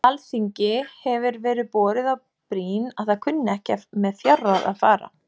Alþingi hefir verið borið á brýn að það kunni ekki með fjárráð að fara.